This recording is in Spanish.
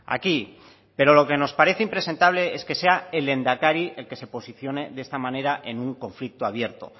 aquí pero lo que nos parece impresentable es que sea el lehendakari el que se posicione de esta manera en un conflicto abierto